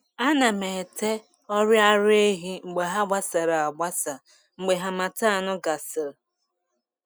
Ana m ete ọrị ara ehi mgbe ha gbasara agbasa mgbe harmattan gasịrị.